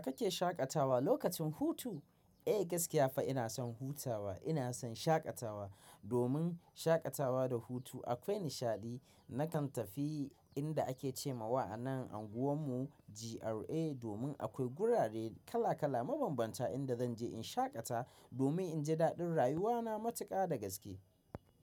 Kake shaƙatawa lokacin hutu? Eh gaskiya fa ina son hutawa, ina son shaƙatawa. Domin shaƙatawa da hutu akwai nishaɗi. Nakan tafi inda ake ce ma wa'a nan anguwan mu GRA domin akwai gurare kala kala mabambanta inda zanje in shaƙata domin in ji daɗin rayuwa na matuƙa da gaske.